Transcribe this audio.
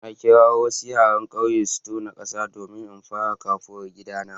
Na kira wasu yaran kauye su tona kasa domin in fara kafuwar gidana.